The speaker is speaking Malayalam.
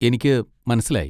എനിക്ക് മനസ്സിലായി.